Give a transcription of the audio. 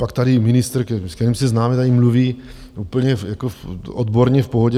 Pak tady ministr, s kterým se známe, tady mluví úplně odborně v pohodě.